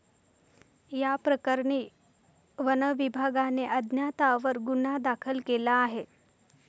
याप्रकरणी वनविभागाने अज्ञातांवर गुन्हा दाखल केला आहे.